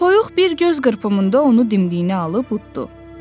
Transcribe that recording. Toyuq bir göz qırpımında onu dindiyinə alıb uddtu.